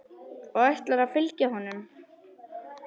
Og ætlarðu að fylgja honum?